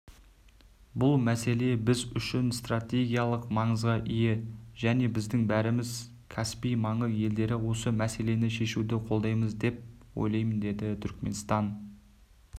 бұл мәселе біз үшін стратегиялық маңызға ие және біздің бәріміз каспий маңы елдері осы мәселені шешуді қолдаймыз деп ойлаймын деді түркіменстан